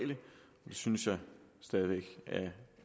synes jeg stadig væk